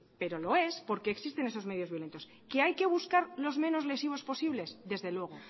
pero lo es porque existen esos medios violentos que hay que buscar los menos lesivos posibles desde luego